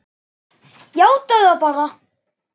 Játaðu það bara!